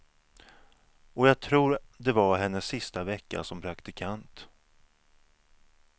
Och jag tror det var hennes sista vecka som praktikant.